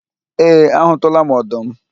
Ee, a hụtụla m ọdụm